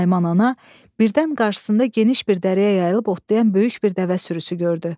Naiman ana birdən qarşısında geniş bir dərəyə yayılıb otlayan böyük bir dəvə sürüsü görürdü.